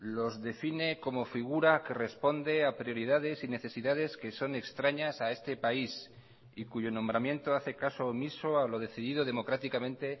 los define como figura que responde a prioridades y necesidades que son extrañas a este país y cuyo nombramiento hace caso omiso a lo decidido democráticamente